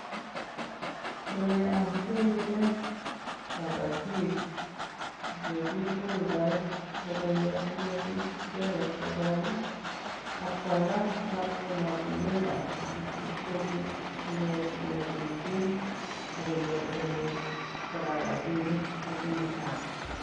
Koroi amache kinet kabatik ole kikoldoi koroi asikobit icheket kokol ak kwalda koba emotinwekab sang asi kobit konyorjigei keljin ak konyor emet kora rabiinik che bunu sang.